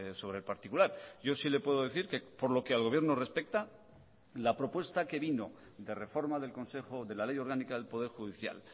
sobre el particular yo sí le puedo decir que por lo que al gobierno respecta la propuesta que vino de reforma del consejo de la ley orgánica del poder judicial